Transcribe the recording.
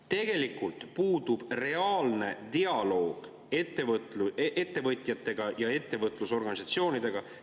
Tegelikult puudub reaalne dialoog ettevõtjatega ja ettevõtlusorganisatsioonidega.